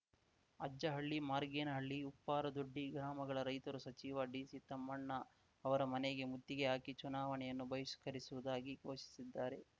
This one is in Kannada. ಅಜ್ಜಹಳ್ಳಿ ಮಾರ್ಗೇನಹಳ್ಳಿ ಉಪ್ಪಾರ ದೊಡ್ಡಿ ಗ್ರಾಮಗಳ ರೈತರು ಸಚಿವ ಡಿಸಿ ತಮ್ಮಣ್ಣ ಅವರ ಮನೆಗೆ ಮುತ್ತಿಗೆ ಹಾಕಿ ಚುನಾವಣೆಯನ್ನು ಬಹಿಷ್ಕರಿಸುವುದಾಗಿ ಘೋಷಿಸಿದ್ದಾರೆ